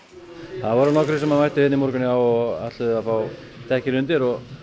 það voru nokkrir sem mættu hérna í morgun og ætluðu að fá dekkin undir